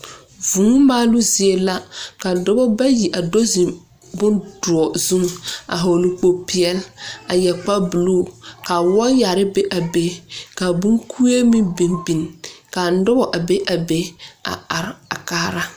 vuu msalo zie la ka doɔba bayi a do zeŋ bong duor zu a vogle kpool pɛɛli a yɛre kpar buluu. Ka waayare be a pule. Ka bon kue meŋ biŋ biŋ. Ka noba a be a be a are a kaara